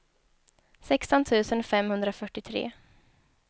sexton tusen femhundrafyrtiotre